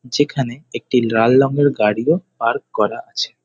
যেখানে একটি লার রঙের গাড়িও পার্ক করা আছে।